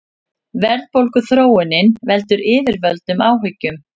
Verðbólguþróunin veldur yfirvöldum áhyggjum